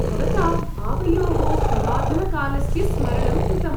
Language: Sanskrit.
भवता आवयोः पुरातनकालस्य स्मरणं कृतम्।